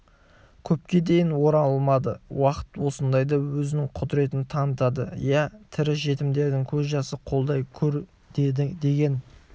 көпке дейін оралмады уақыт осындайда өзінің құдіретін танытады иә тірі жетімдердің көз жасы қолдай гөр деген